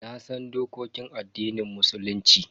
Nasan dokokin addinin Musulunci.